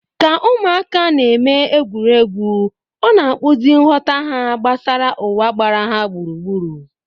Ka ụmụaka na-eme egwuregwu, ọ na-akpụzi nghọta ha gbasara ụwa gbara ha gburugburu.